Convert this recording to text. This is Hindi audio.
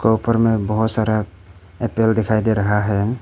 ऊपर में बहोत सारा एप्पल दिखाई दे रहा है।